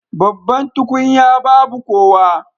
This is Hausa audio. Babban tukunya babu kowa